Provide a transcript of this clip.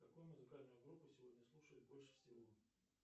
какую музыкальную группу сегодня слушают больше всего